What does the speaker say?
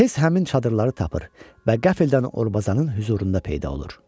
Tez həmin çadırları tapır və qəflətən Orbazanın hüzurunda peyda olur.